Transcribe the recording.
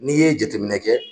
Ni ye jateminɛ kɛ